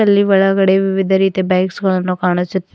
ಇಲ್ಲಿ ಒಳಗಡೆ ವಿವಿಧ ರೀತಿಯ ಬೈಕ್ಸ್ ಗಳನ್ನು ಕಾಣಿಸುತ್ತ್--